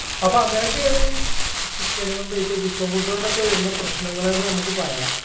അപ്പോ അങ്ങനൊക്കെയാണ് chicken കൊണ്ട് ഇപ്പൊ chicken food കൊണ്ടൊക്കെ വരുന്ന പ്രശ്നങ്ങള്ന്ന് നമ്മുക്ക് പറയാ